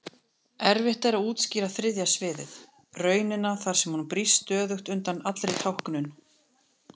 Erfitt er að útskýra þriðja sviðið, raunina þar sem hún brýst stöðugt undan allri táknun.